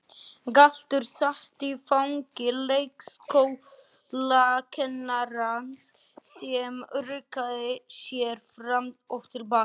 Galdur sat í fangi leikskólakennarans sem ruggaði sér fram og til baka.